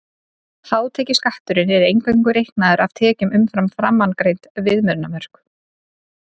hátekjuskatturinn er eingöngu reiknaður af tekjum umfram framangreind viðmiðunarmörk